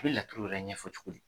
I bi laturu yɛrɛ ɲɛfɔ cogo di?